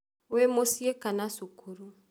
Wĩ mũciĩ kana cukuru